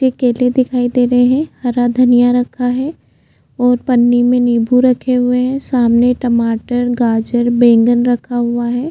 ये केले दिखाई दे रहै है हरा धनिया रखा है और पन्नी मे निंबू रखे हुए है सामने टमाटर गाजर बैंगन रखा हुआ है।